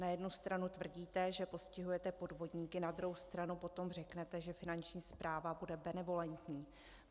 Na jednu stranu tvrdíte, že postihujete podvodníky, na druhou stranu potom řeknete, že Finanční správa bude benevolentní.